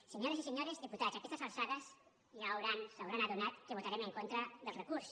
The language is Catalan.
senyores i senyors diputats a aquestes alçades ja es deuen haver adonat que votarem en contra del recurs